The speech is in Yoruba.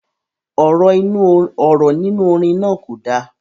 Ọ̀rọ̀ nínú orin náà kò dá